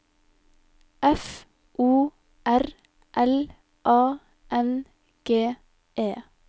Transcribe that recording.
F O R L A N G E